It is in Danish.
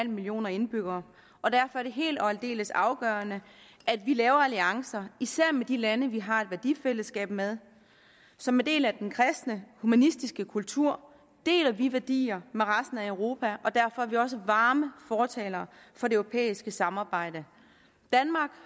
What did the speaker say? millioner indbyggere og derfor er det helt og aldeles afgørende at vi laver alliancer især med de lande vi har et værdifællesskab med som en del af den kristne humanistiske kultur deler vi værdier med resten af europa og derfor er vi også varme fortalere for det europæiske samarbejde danmark